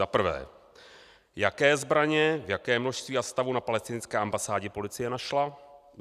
Za prvé: Jaké zbraně, v jakém množství a stavu na palestinské ambasádě policie našla?